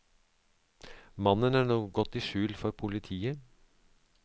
Mannen er nå gått i skjul for politiet.